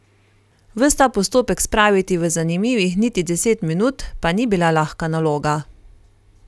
Ves ta postopek spraviti v zanimivih niti deset minut pa ni bila lahka naloga.